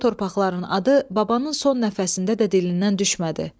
O torpaqların adı babanın son nəfəsində də dilindən düşmədi.